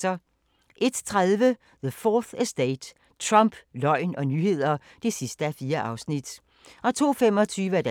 01:30: The 4th Estate – Trump, løgn og nyheder (4:4)